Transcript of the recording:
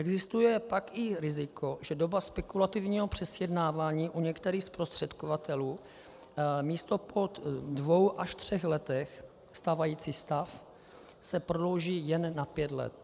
Existuje pak i riziko, že doba spekulativního přesjednávání u některých zprostředkovatelů místo po dvou až třech letech - stávající stav - se prodlouží jen na pět let.